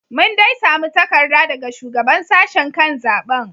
Mun dai samu takarda daga Shugaban Sashen kan zaben.